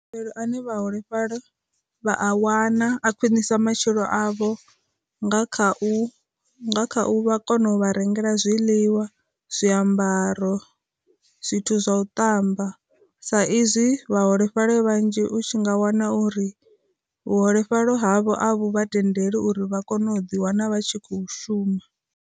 Ane vhaholefhali vha a wana a khwinisa matshilo avho nga kha u kha u vha a kona u vha rengela zwiḽiwa, zwiambaro, zwithu zwa u ṱamba, sa izwi vhaholefhali vhanzhi u tshi nga wana uri vhuholefhali havho a vhu vha tendele uri vha kone u ḓi wana vha tshi khou shuma.